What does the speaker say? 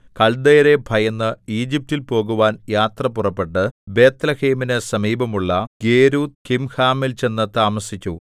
കല്ദയരെ ഭയന്ന് ഈജിപ്റ്റിൽ പോകുവാൻ യാത്ര പുറപ്പെട്ട് ബേത്ത്ലേഹേമിനു സമീപത്തുള്ള ഗേരൂത്ത്കിംഹാമിൽ ചെന്നു താമസിച്ചു